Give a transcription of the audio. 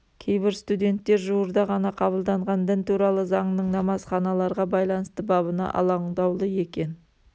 кейбір студенттер жуырда ғана қабылданған дін туралы заңның намазханаларға байланысты бабына алаңдаулы екен